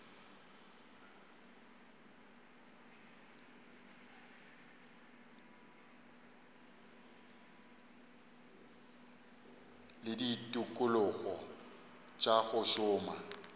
le ditikologo tša go šoma